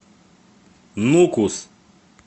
нукус